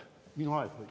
Minu aeg või?